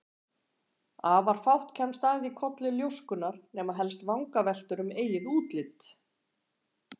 Afar fátt kemst að í kolli ljóskunnar, nema helst vangaveltur um eigið útlit.